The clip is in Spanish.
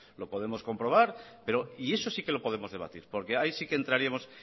lo podemos comprobar y eso sí que lo podemos debatir porque ahí sí que entraríamos